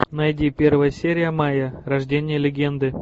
найди первая серия майя рождение легенды